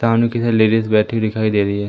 सामने की लेडीज बैठी दिखाई दे रही है।